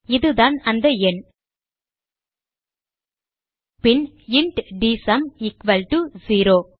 இதுதான் அந்த எண் பின் இன்ட் டிஎஸ்யூஎம் எக்குவல் டோ 0